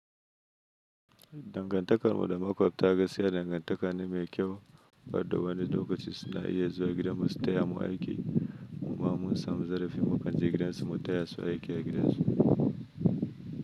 Dangantakar mu da makwat ta gaskiya dangantaka ne mai kyau banda wani lokaci suna iya zuwa gidan mu su taya mu aiki kuma mun samu zarafi mu kan je gidansu mu taya su aiki a gidan su.